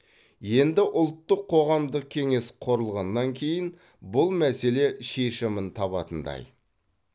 енді ұлттық қоғамдық кеңес құрылғаннан кейін бұл мәселе шешімін табатындай